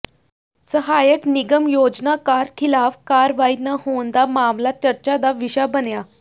ਸਹਾਇਕ ਨਿਗਮ ਯੋਜਨਾਕਾਰ ਿਖ਼ਲਾਫ਼ ਕਾਰਵਾਈ ਨਾ ਹੋਣ ਦਾ ਮਾਮਲਾ ਚਰਚਾ ਦਾ ਵਿਸ਼ਾ ਬਣਿਆ